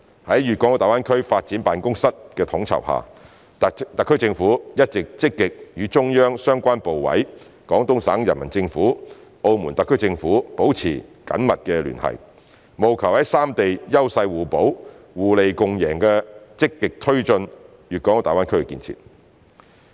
在粵港澳大灣區發展辦公室的統籌下，特區政府一直積極與中央相關部委、廣東省人民政府、澳門特區政府保持緊密聯繫，務求在三地優勢互補、互利共贏下積極推進粵港澳大灣區建設。